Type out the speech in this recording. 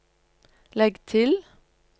legg til